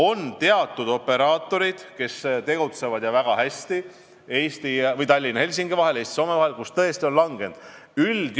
On teatud operaatorid, kes tegutsevad – ja väga hästi – Tallinna ja Helsingi vahel, Eesti ja Soome vahel, kuid turistide arv on tõesti langenud.